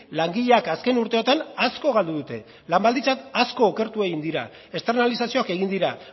langileak azken urteotan asko galdu dute lan baldintzak asko okertu egin dira externalizazioak egin dira